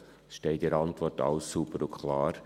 Dies steht in der Antwort sauber und klar.